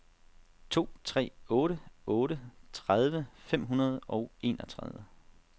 to tre otte otte tredive fem hundrede og enogtredive